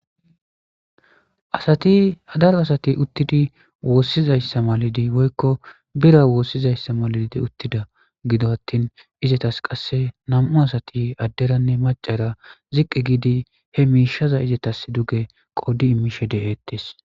asati daro asati uttidi woossizayssa malidi woykko bira woossizayssa malidi uttida gido attin izetas qasse nam7u asati adderanne macara ziqqi giidi he miishaza izetas duge qoddi immishe deheettes